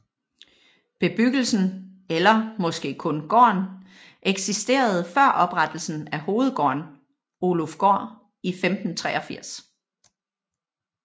Bebyggelsen eller måske kun gården eksisterede før oprettelsen af hovedgården Ølufgård i 1583